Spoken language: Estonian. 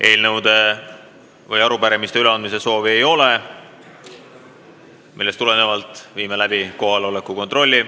Eelnõude ega arupärimiste üleandmise soovi ei ole, millest tulenevalt viime läbi kohaloleku kontrolli.